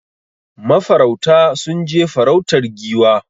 Ma farauta sun je farautar Giwa